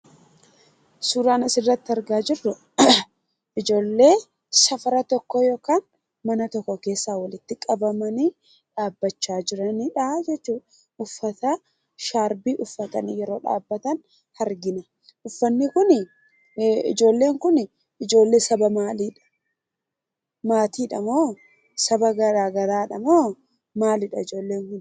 Suuraan asirratti argaa jirru ijoollee naannoo tokkoo yookaan mana tokko keessa walitti qabamanii dhaabbachaa jiranidha jechuudha. Uffata "shaarbii" uffatanii yeroo dhaabbatan argina. Ijoolleen kun ijoollee saba maaliidha? Maatiidha moo? Saba garaa garaadha moo maalidha ijoollen kun?